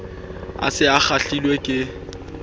a se a kgahlilwe ke